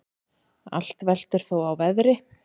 Allt veltur þó á veðri.